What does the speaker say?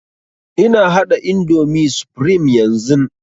Ina haɗa indomie supreme yanzun